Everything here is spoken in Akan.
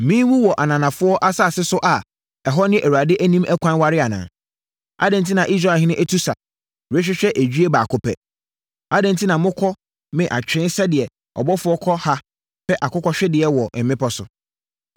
Menwu wɔ ananafoɔ asase so a ɛhɔ ne Awurade anim ɛkwan ware anaa? Adɛn enti na Israelhene atu sa, rehwehwɛ edwie baako pɛ? Adɛn enti na mokɔ me atwee sɛdeɛ ɔbɔfoɔ kɔ ha pɛ akokɔhwedeɛ wɔ mmepɔ so?”